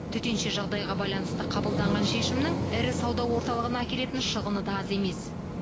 төтенше жағдайға байланысты қабылданған шешімнің ірі сауда орталығына әкелетін шығыны да аз емес